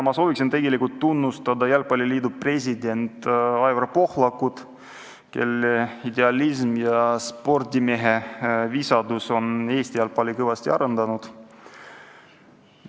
Ma soovin tegelikult tunnustada jalgpalliliidu presidenti Aivar Pohlakut, kelle idealism ja spordimehe visadus on Eesti jalgpalli kõvasti arendanud.